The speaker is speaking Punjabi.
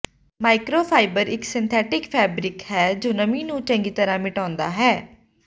ਮਾਈਕਰੋਫਾਈਬਰ ਇਕ ਸਿੰਥੈਟਿਕ ਫੈਬਰਿਕ ਹੈ ਜੋ ਨਮੀ ਨੂੰ ਚੰਗੀ ਤਰ੍ਹਾਂ ਮਿਟਾਉਂਦਾ ਹੈ